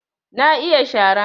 Na iya shara